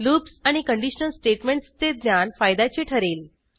loops आणि conditional स्टेटमेंटसचे ज्ञान फायद्याचे ठरेल